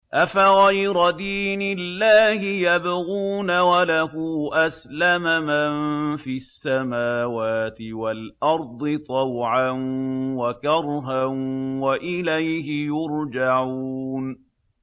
أَفَغَيْرَ دِينِ اللَّهِ يَبْغُونَ وَلَهُ أَسْلَمَ مَن فِي السَّمَاوَاتِ وَالْأَرْضِ طَوْعًا وَكَرْهًا وَإِلَيْهِ يُرْجَعُونَ